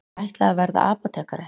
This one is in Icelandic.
Ég ætlaði að verða apótekari.